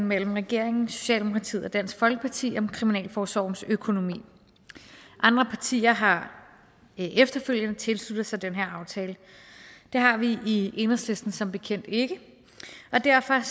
mellem regeringen socialdemokratiet og dansk folkeparti om kriminalforsorgens økonomi andre partier har efterfølgende tilsluttet sig den her aftale det har vi i enhedslisten som bekendt ikke og derfor